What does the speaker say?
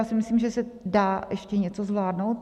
Já si myslím, že se dá ještě něco zvládnout.